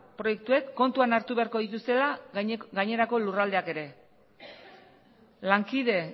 proiektuek kontuan hartu beharko dituztela gainerako lurraldeak ere lankide